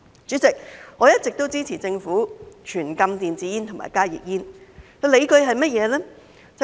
主席，我一直都支持政府全禁電子煙及加熱煙，理據是甚麼呢？